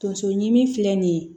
Tonso ɲimi filɛ nin ye